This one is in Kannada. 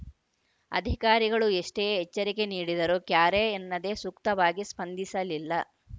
ಅಧಿಕಾರಿಗಳು ಎಷ್ಟೇ ಎಚ್ಚರಿಕೆ ನೀಡಿದರೂ ಕ್ಯಾರೆ ಎನ್ನದೆ ಸೂಕ್ತವಾಗಿ ಸ್ಪಂದಿಸಲಿಲ್ಲ